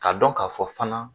Ka dɔn ka fɔ fana